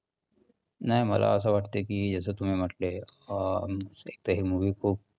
नाही मला असं वाटतंय की जसं तुम्ही म्हंटले अं हे movie खूप